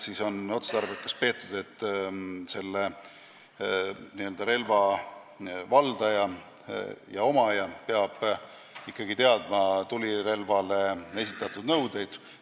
Nii on otstarbekaks peetud, et selle relva valdaja ja omaja peab ikkagi teadma tulirelvale esitatavaid nõudeid.